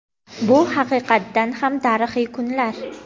Bu haqiqatan ham tarixiy kunlar.